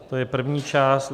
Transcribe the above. To je první část.